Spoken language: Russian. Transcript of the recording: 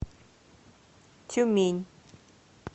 тюмень